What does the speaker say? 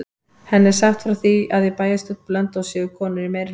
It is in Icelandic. Henni er sagt frá því að í bæjarstjórn Blönduóss séu konur í meirihluta.